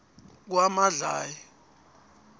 kwamadlayi